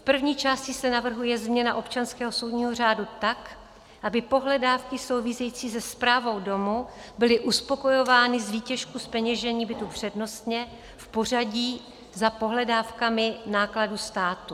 V první části se navrhuje změna občanského soudního řádu tak, aby pohledávky související se správou domu byly uspokojovány z výtěžku zpeněžení bytu přednostně, v pořadí za pohledávkami nákladů státu.